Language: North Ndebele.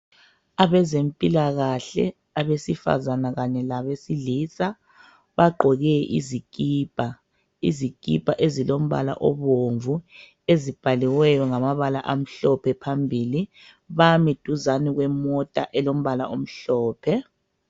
Abezempilakahle abesifazana kanye labesilisa bagqoke izikipa. Izikipa ezilombala obomvu, ezibhaliweyo ngamabala amhlophe phambili. Bami duzani kwemota elombala omhlophe.